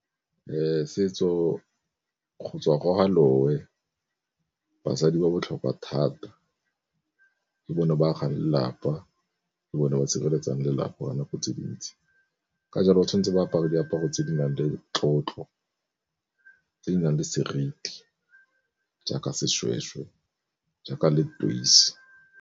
Setso go tswa ko ga loe basadi ba botlhokwa thata, ke bone ba agang lelapa ke bone ba sireletsang lelapa nako tse di ntsi, ka jalo o tshwantse ba apare diaparo tse di nang le tlotlo tse di nang le seriti jaaka seshweshwe jaaka .